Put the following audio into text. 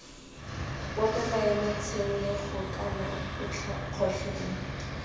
bope maemo tshenyego kana kgotlhelo